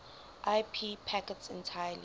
ip packets entirely